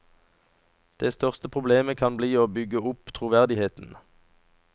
Det største problemet kan bli å bygge opp troverdigheten.